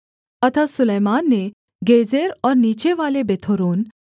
अतः सुलैमान ने गेजेर और नीचेवाले बेथोरोन